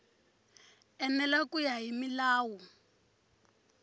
enela ku ya hi milawu